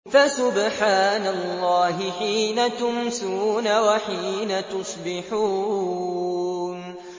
فَسُبْحَانَ اللَّهِ حِينَ تُمْسُونَ وَحِينَ تُصْبِحُونَ